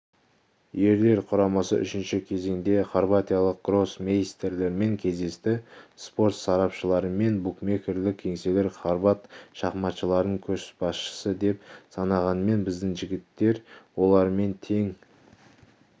ерлер құрамасы үшінші кезеңде хорватиялық гроссмейстерлермен кездесті спорт сарапшылары мен букмекерлік кеңселер хорват шахматшыларын көшбасшы деп санағанымен біздің жігіттер олармен тең